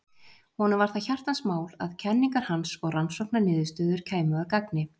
Honum var það hjartans mál að kenningar hans og rannsóknarniðurstöður kæmu að gagni.